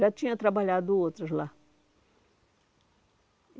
Já tinha trabalhado outras lá.